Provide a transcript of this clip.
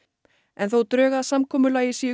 en þótt drög að samkomulagi séu